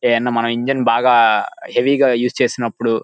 దైన మనం ఇంజన్ బాగా హెవీ గా యూస్ చేసినప్పుడు --